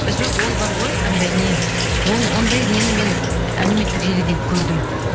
жоқ ол бар ғой анандай не ондай нені мен әлеуметтік желіден көрдім